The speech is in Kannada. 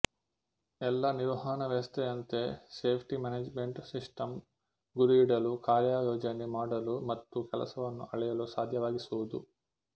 ಎಲ್ಲಾ ನಿರ್ವಹಣಾ ವ್ಯವಸ್ಥೆಯಂತೆ ಸೇಫ್ಟಿ ಮ್ಯಾನೇಜ್ಮೆಂಟ್ ಸಿಸ್ಟಂಸ್ ಗುರಿ ಇಡಲು ಕಾರ್ಯಯೋಜನೆ ಮಾಡಲು ಮತ್ತು ಕೆಲಸವನ್ನು ಆಳೆಯಲು ಸಾದ್ಯವಾಗಿಸುವುದು